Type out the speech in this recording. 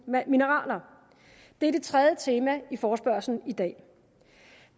mineraler det er det tredje tema i forespørgslen i dag